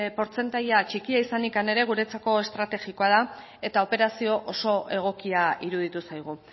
portzentaia txikia izanik ere guretzako estrategikoa da eta operazio oso egokia iruditu zaigu